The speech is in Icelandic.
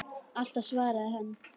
Alltaf svaraði hann.